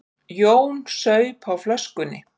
Jón saup á flöskunni.